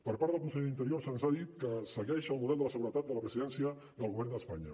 per part del conseller d’interior se’ns ha dit que segueix el model de la seguretat de la presidència del govern d’espanya